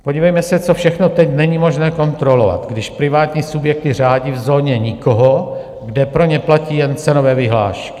Podívejme se, co všechno teď není možné kontrolovat, když privátní subjekty řádí v zóně nikoho, kde pro ně platí jen cenové vyhlášky.